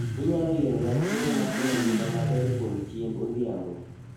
Inyalo yierona chiemo makelo ngima maber kuom chiemb odhiambo